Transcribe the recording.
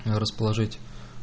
расположить